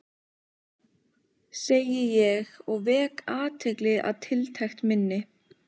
segi ég og vek athygli á tiltekt minni.